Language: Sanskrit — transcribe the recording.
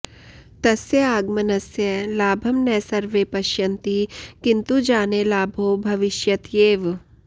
तस्य आगमनस्य लाभं न सर्वे पश्यन्ति किन्तु जाने लाभो भविष्यत्येव